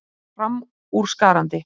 Hann var framúrskarandi.